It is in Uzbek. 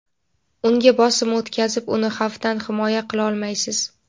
unga bosim o‘tkazib uni xavfdan himoya qilolmaysiz.